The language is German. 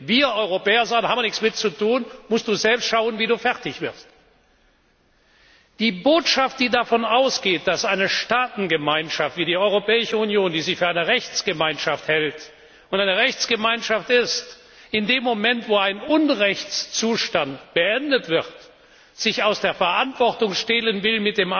wir Europäer sagen, da haben wir nichts damit zu tun, da musst Du selbst schauen, wie Du fertig wirst. Die Botschaft, die davon ausgeht, dass eine Staatengemeinschaft wie die Europäische Union, die sich für eine Rechtsgemeinschaft hält und eine Rechtsgemeinschaft ist, in dem Moment, wo ein Unrechtszustand beendet wird, sich mit dem Argument aus der Verantwortung stehlen will,